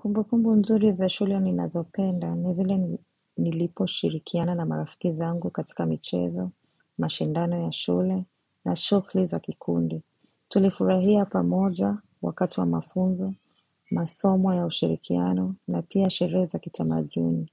Kumbukumbu nzuri za shule ninazopenda, ni zile niliposhirikiana na marafiki zangu katika michezo, mashindano ya shule na shughuli za kikundi. Tulifurahia pamoja wakati wa mafunzo, masomo ya ushirikiano na pia sherehe za kitamaduni.